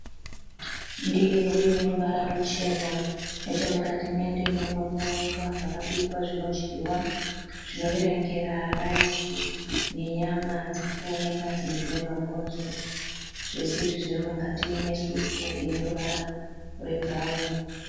Ndiro ine ruvara ruchena. Nechemukati mendiro muri kuonekwa zvakabikwa zvinodyiwa zvinoverengera raisi nenyama dziri kuoneka dzimwe dzine mabhonzo. Zvese izvi zviri mukati mesupu ine ruvara rwebhurauni.